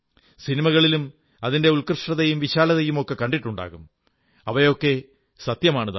സിനിമകളിലും അതിന്റെ ഉത്കൃഷ്ടതയും വിശാലതയുമൊക്കെ കണ്ടിട്ടുണ്ടാകും അവയൊക്കെ സത്യമാണു താനും